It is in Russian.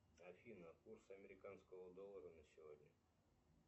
афина курсы американского доллара на сегодня